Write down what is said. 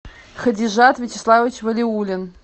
хадижат вячеславович валиуллин